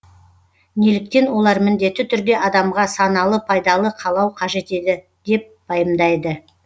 неліктен олар міндетті түрде адамға саналы пайдалы қалау қажет еді деп пайымдайды